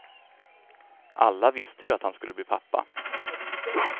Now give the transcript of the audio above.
Alla visste ju att han skulle bli pappa.